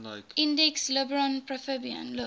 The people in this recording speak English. index librorum prohibitorum